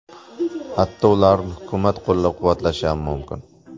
Hatto ularni hukumat qo‘llab-quvvatlashi ham mumkin.